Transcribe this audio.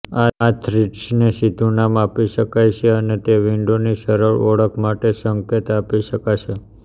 આ થ્રિડ્સને સીધું નામ આપી શકાશે અને તે વિન્ડોની સરળ ઓળખ માટે સંકેત આપી શકાશે